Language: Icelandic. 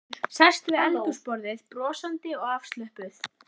Sest við eldhúsborðið, brosandi og afslöppuð.